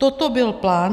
Toto byl plán